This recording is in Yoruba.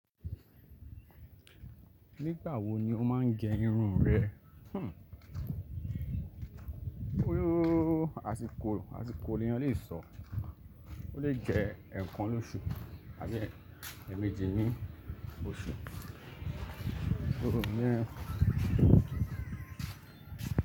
Nígbà wo ni o máa ń gẹ irun rẹ? Hhm! Ó yóò, àsìkò, àsìkò ni eeyan lè sọ. Ó lè jẹ ẹ̀ẹ̀kan lóṣù àbí ẹ́ẹ̀méjì ní oṣù. Òróró ń jẹ ẹ́.